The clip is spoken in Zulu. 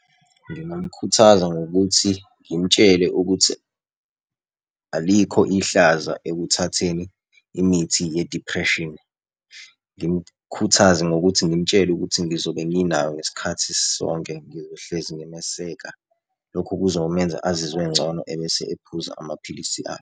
Ngingamkhuthaza ngokuthi ngimtshele ukuthi alikho ihlazo ekuthatheni imithi ye-depression. Ngimkhuthaze ngokuthi ngimtshele ukuthi ngizobe nginaye ngesikhathi sonke ngizohlezi ngimeseka. Lokho kuzomenza azizwe engcono, ebese ephuza amaphilisi akhe.